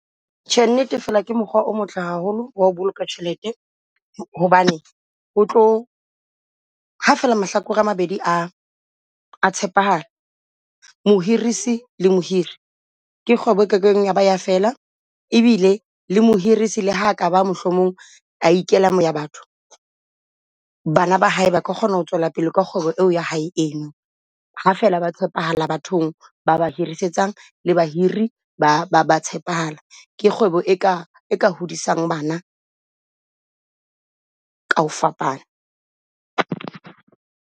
Tjhe, nnete fela ke mokgwa o motle haholo ho boloka tjhelete hobane o tlo , ha fela mahlakore a mabedi a tshepahala mohorisi le mohiri. Ke kgwebo eke keng ya ba ya fela ebile le mohorisi le ha kaba mohlomong a ikela bo ya batho. Bana ba hae ba ka kgona ho tswela pele ka kgwebo ya hae eno. Ha fela baka tshepahala bathong ba ba hirisetsa le bahiri ba tshepahala. Ke kgwebo e ka hodisang bana kaho fapana.